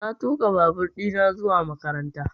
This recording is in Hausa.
Na tuƙa babur ɗina zuwa makaranta